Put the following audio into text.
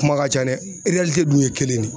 Kuma ka ca dɛ dun ye kelen de ye.